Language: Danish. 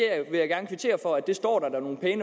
er